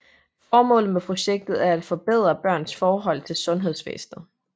Formålet med projektet er at forbedre børns forhold til sundhedsvæsnet